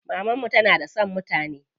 Maman mu tana da son mutane.